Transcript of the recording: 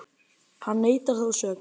Hann neitar þó sök